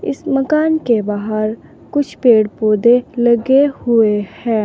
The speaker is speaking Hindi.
इस मकान के बाहर कुछ पेड़ पौधे लगे हुए हैं।